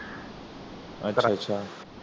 ਅੱਛਾ ਅੱਛਾ